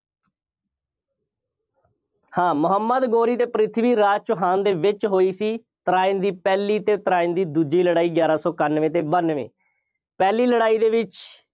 ਹਾਂ ਮੁਹੰਮਦ ਗੌਰੀ ਅਤੇ ਪ੍ਰਿਥਵੀ ਰਾਜ ਚੌਹਾਨ ਦੇ ਵਿੱਚ ਹੋਈ ਸੀ। ਤਰਾਇਣ ਦੀ ਪਹਿਲੀ ਅਤੇ ਤਰਾਇਣ ਦੀ ਦੂਜੀ ਲੜਾਈ, ਗਿਆਰਾਂ ਸੌ ਇਕਾਨਵੇਂ ਅਤੇ ਬਾਨਵੇਂ ਪਹਿਲੀ ਲੜਾਈ ਦੇ ਵਿੱਚ